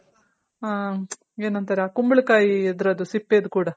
ಹ ಏನಂತಾರೆ ಕುಂಬಳ ಕಾಯಿ ಇದ್ರದು ಸಿಪ್ಪೆದು ಕೂಡ